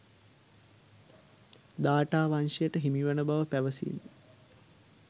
දාඨාවංශයට හිමිවන බව පැවසීම